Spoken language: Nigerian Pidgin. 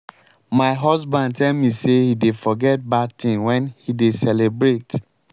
my husband tell me say he dey forget bad things wen he dey celebrate.